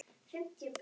Þinn, pabbi.